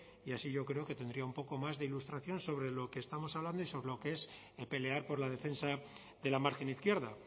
y así yo creo que tendría un poco más de ilustración sobre lo que estamos hablando y sobre lo que es el pelear por la defensa de la margen izquierda